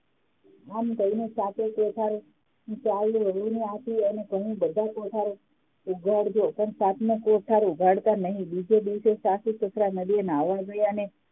આમ કહીને સાતે કોઠારની ચાવી વહુને આપીને કહ્યું બધા કોઠાર ઉગાડજો પણ સાતમા કોઠાર ઉગાડતા નહીં બીજે દિવસે સાસુ સસરા નદીએ નાહવા ગયા અને